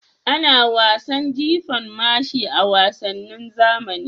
Ana wasan jifan mashi a wasannin zamani.